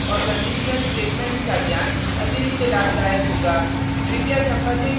comments loops और conditional statements का ज्ञान अतिरिक्त लाभदायक होगा